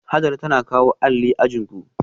Hajara tana kawo alli ajin ku